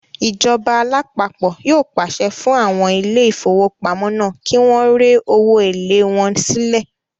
Ìjọba alápapọ̀ yóò pàṣẹ fún àwọn ilé ìfowópamọ́ náà kí wọ́n rẹ owó èlé wọn sílẹ̀